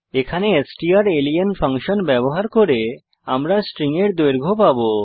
এখানে strlen function ব্যবহার করে আমরা স্ট্রিং এর দৈর্ঘ্য পাবো